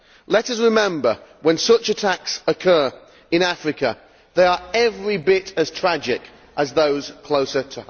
Let us remember, when such attacks occur in Africa they are every bit as tragic as those closer to home.